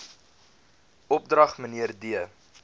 opdrag mnr d